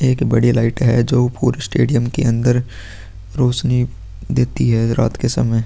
एक बड़ी लाइट है जो पुरे स्टेडियम के अंदर रौशनी देती है रात के समय --